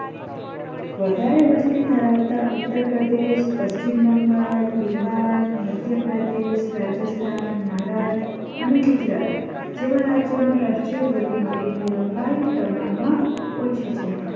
વધારે વસ્તી ધરાવતાં ઉત્તર પ્રદેશ પશ્ચિમ બંગાળ બિહાર મધ્ય પ્રદેશ રાજસ્થાન મહારાષ્ટ્ર અને ગુજરાત જેવા રાજ્યો માં રાષ્ટ્રીય ધોરીમાર્ગોની લંબાઈ ઓછી છે